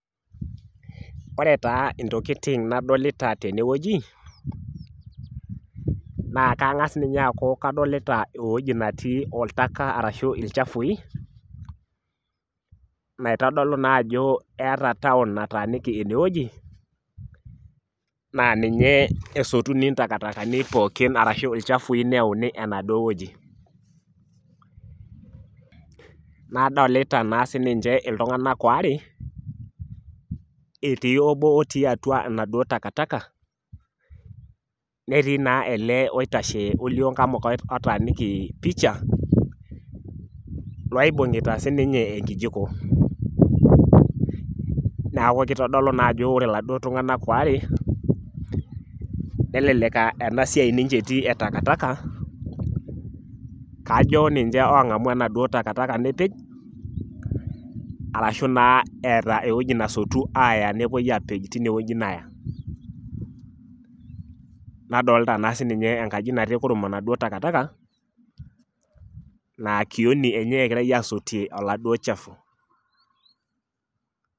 Ore taa ntokitin nadolita tenewueji naa kangas ninye aaku kadolita eweuji netii oltaka ashu ilchafui natodolu naa ajo eeta town nataaniki ineweuji naa ninye esotuni ntakatani pookin arashu ilchafui pookin neyauni enaduo wueji . Nadolita naa sininche iltunganak ware etii obo otii atua enaduo takataka , netii naa ele oitashe olioo nkamuka otaaniki picha loibungita sininye enkijiko , naku kitodolu naa ajo ore iladuo tunganak ware nelelek aa enasiai ninche etii etakataka kajo ninche ongamu enaduo takataka nipik arashu naa eetaa ewueji nesotu nepuoi apej tinewueji aya , nadolta naa sininye enkaji natii kurum enaduo takataka naa kioni enye egirae asotie oladuo chafu .